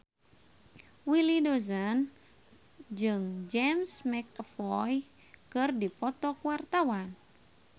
Willy Dozan jeung James McAvoy keur dipoto ku wartawan